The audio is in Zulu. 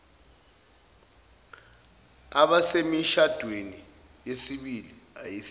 abasemishadweni yesibili ayisilo